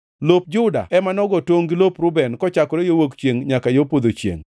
Lop Juda ema nogo tongʼ gi lop Reuben, kochakore yo wuok chiengʼ nyaka yo podho chiengʼ.